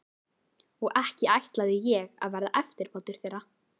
Og ekki ætlaði ég að verða eftirbátur þeirra.